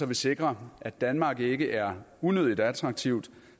vi sikrer at danmark ikke er unødigt attraktivt